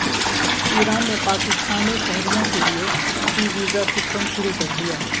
ایران نے پاکستانی شہریوں کیلئے ای ویزا سسٹم شروع کر دیا